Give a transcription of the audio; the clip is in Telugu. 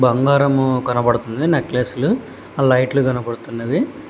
బంగారము కనబడుతుంది నెక్లెస్ ఆ లైట్లు కనపడుతున్నది.